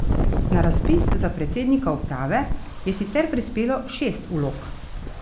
Na razpis za predsednika uprave je sicer prispelo šest vlog.